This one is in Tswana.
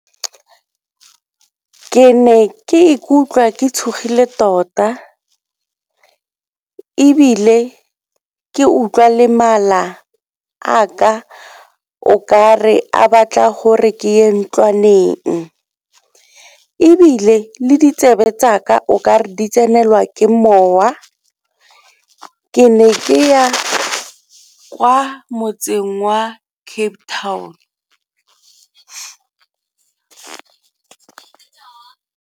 Ke ne ke ikutlwa ke tshogile tota ebile ke utlwa le mala a ka okare a batla gore ke ko ntlwaneng, ebile le ditsebe tsa ka o ka re di tsenelwa ke mowa ke ne ke ya kwa motseng wa Cape Town.